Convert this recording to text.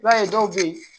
I b'a ye dɔw bɛ ye